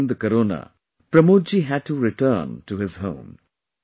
But during corona Pramod ji had to return to his home